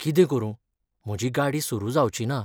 कितें करूं? म्हजी गाडी सुरू जावचिना.